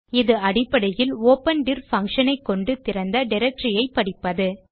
இது அடிப்படையில் open dir function ஐக் கொண்டு திறந்த டைரக்டரி ஐ படிப்பது